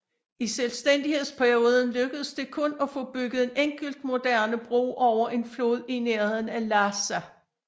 I selvstændighedsperioden lykkedes det kun at få bygget en enkelt moderne bro over en flod i nærheden af Lhassa